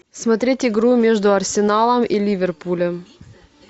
смотреть игру между арсеналом и ливерпулем